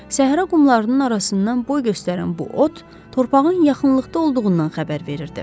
Səhra qumlarının arasından boy göstərən bu ot torpağın yaxınlıqda olduğundan xəbər verirdi.